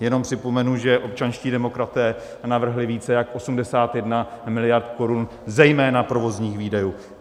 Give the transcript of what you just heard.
Jen připomenu, že občanští demokraté navrhli více jak 81 miliard korun zejména provozních výdajů.